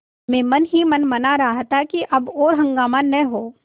मैं मन ही मन मना रहा था कि अब और हंगामा न हो